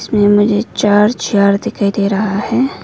इसमें मुझे चार चेयर दिखाई दे रहा है।